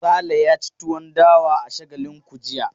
Sale ya ci tuwon dawa a Shagalinku jiya.